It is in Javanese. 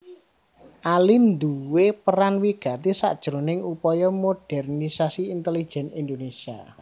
Ali nduwé peran wigati sakjroning upaya modernisasi intelejen Indonesia